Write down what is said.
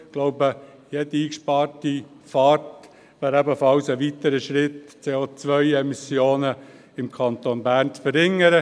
Jede eingesparte Fahrt wäre ebenfalls ein weiterer Schritt, um die CO-Emmissionen im Kanton Bern zu verringern.